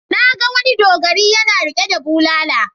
Na ga wani dogari yana riƙe da bulala.